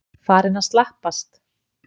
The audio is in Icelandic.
Farinn að slappast?